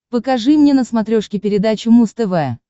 покажи мне на смотрешке передачу муз тв